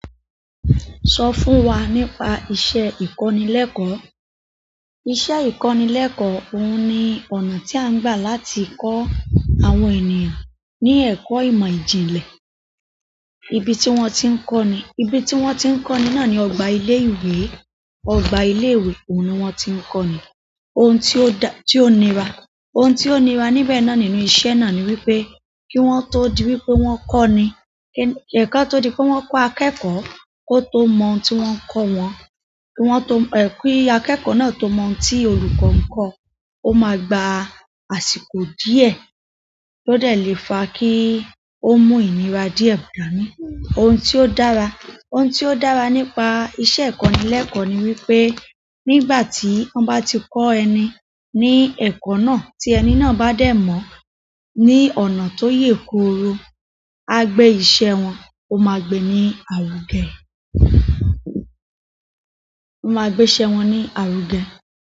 Sọ fún wa nípa iṣẹ́ ìkọ́nilẹ́kọ̀ọ́. Iṣẹ́ ìkọ́nilẹ́kọ̀ọ́ òhun ni ọ̀nà tí a ń gbà láti kọ́ àwọn ènìyàn ní ẹ̀kọ́ ìmọ̀ ìjìnlẹ̀. Ibi tí wọ́n ti ń kọ́ ni, ibi tí wọ́n ti ń kọ́ ni náà ni ọgbà ilé ìwé. Ọgbà ilé ìwé òun ni wọ́n ti ń kọ́ ni. Ohun tí ó nira, ohun tí ó nira níbẹ̀ náà nínú iṣẹ́ náà ni wípé kí wọ́n tó di wípé wọ́n kọ́ ni, ko tó di pé wọ́n kọ́ akẹ́kọ̀ọ́ kó tó mọ ohun tí wọ́n ń kọ́ wọn. Kí akẹ́kọ̀ọ́ náà tó mọ ohun tí olùkọ́ ń kọ́, ó máa gba àsìkò díẹ̀ tó dè lè fa kí ó mú ìnira díẹ̀ dàá ni. Ohun tí ó dára, ohun tí ó dára nípa iṣẹ́ ìkọ́nilẹ́kọ̀ọ́ ni wípé nígbà tí wọ́n bá ti kọ ẹni ní ẹ̀kọ́ náà, tí ẹni náà bá dé mọ̀ ní ọ̀nà tó yè kooro, agbe ìṣe wọn, ó máa gbé ní àrùgẹ. Ó máa gbé iṣẹ́ wọn ní àrùgẹ.